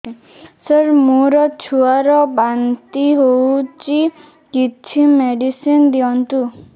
ସାର ମୋର ଛୁଆ ର ବାନ୍ତି ହଉଚି କିଛି ମେଡିସିନ ଦିଅନ୍ତୁ